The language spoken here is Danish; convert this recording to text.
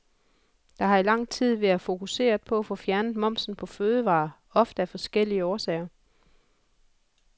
Der har i lang tid været fokuseret på at få fjernet momsen på fødevarer, ofte af forskellige årsager.